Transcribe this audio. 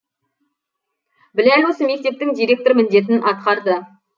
біләл осы мектептің директор міндетін атқарды